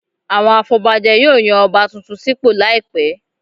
Àwọn afọbajẹ yóò yan Ọba tuntun sípò láìpẹ̀